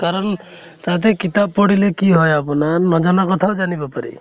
কাৰণ তাতে কিতাপ পঢ়িলে কি হয় আপোনাৰ নজনা কথাও জানব পাৰি